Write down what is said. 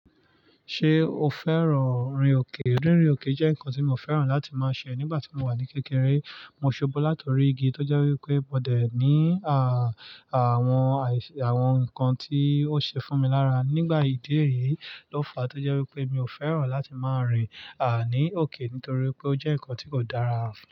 Ṣé o fẹ́ràn rin òkè? Rírin òkè jẹ́ nǹkan tí mo fẹ́ràn láti máa ṣe nígbà tí mo wà ní kékeré. Mo ṣubú láti orí igi tó jẹ́ wípé mo dẹ̀ ní à, àwọn, àwọn nǹkan tí ó ṣe fún mi lára. Nígbà ìdí èyí ló fàá tó jẹ́ wípé mi ò fẹ́ràn láti máa rìn à ní òkè nítorí pé ó jẹ́ nǹkan tí kò dára.